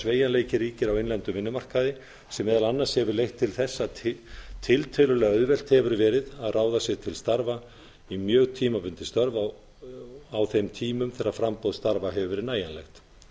sveigjanleiki ríkir á innlendum vinnumarkaði sem meðal annars hefur leitt til þess að tiltölulega auðvelt hefur verið að ráða sig til starfa í mjög tímabundin störf á þeim tímum sem framboð starfa hefur verið nægjanlegt